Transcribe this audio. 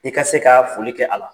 I ka se ka foli kɛ a la.